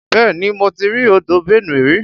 Bẹ́ẹ̀ni mo ti rí odò Benue rí.